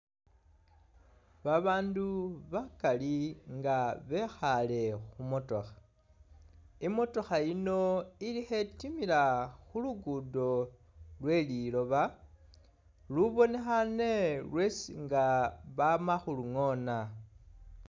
Babandu bakaali nga bekhale khumotokha, i'motokha yiino khetimila khulugudo lweliloba lubonekhane nga lwesi bamakhulungona